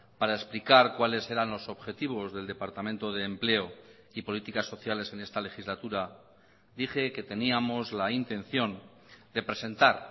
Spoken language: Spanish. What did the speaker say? para explicar cuáles eran los objetivos del departamento de empleo y políticas sociales en esta legislatura dije que teníamos la intención de presentar